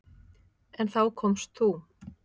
En þá komst þú.